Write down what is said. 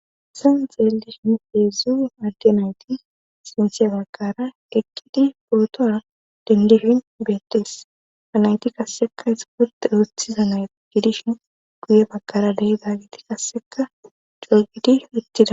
San xeeldish n heedzue adde nayti sinthye bagkara ekkidi pootora dendihin beettees anayti kasseka ixpote wuthiza naygidishin guye bakara dehidagiti kasseka coogidi wittida